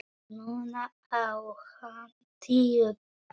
Núna á hann tíu blöð.